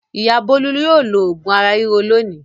Ìyá Bólú yóò lo òògùn ara ríro lónìí.